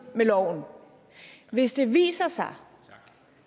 med loven hvis det viser sig